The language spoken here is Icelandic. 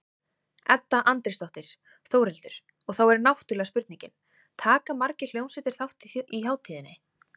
Edda Andrésdóttir: Þórhildur, og þá er náttúrulega spurningin, taka margar hljómsveitir þátt í hátíðinni?